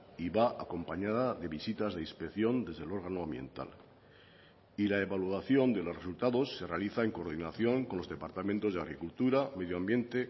y va acompañada de visitas de inspección desde el órgano ambiental y la evaluación de los resultados se realiza en coordinación con los departamentos de agricultura medio ambiente